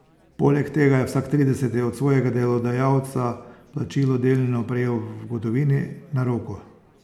Poleg tega je vsak trideseti od svojega delodajalca plačilo delno prejel v gotovini, na roko.